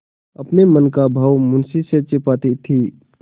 अपने मन का भाव मुंशी से छिपाती थी